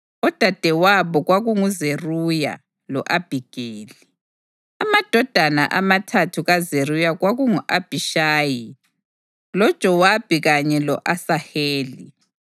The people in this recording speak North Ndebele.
Odadewabo kwakunguZeruya lo-Abhigeli. Amadodana amathathu kaZeruya kwakungu-Abhishayi, loJowabi kanye lo-Asaheli.